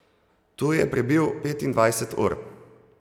Tu je prebil petindvajset ur.